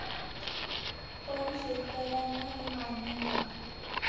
पण शेतकऱ्यांना हे मान्य नाही.